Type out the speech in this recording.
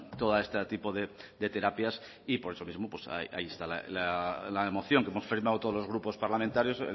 todo este tipo de terapias y por eso mismo pues ahí está la moción que hemos firmado todos los grupos parlamentarios